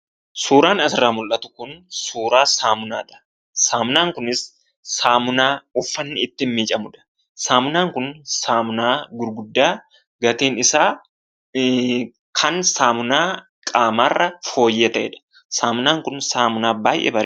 Suuraan asirraa mul'atu kun suuraa saamunaadha. Saamunaan kunis saamunaa uffanni ittiin miicamudha. Saamunaan kun saamunaa gurguddaa gatiin isaa kan saamunaa qaamaarra fooyyee ta'edha. Saamunaan kun saamunaa baay'ee bareedaadha